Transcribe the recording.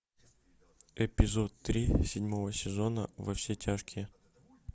эпизод три седьмого сезона во все тяжкие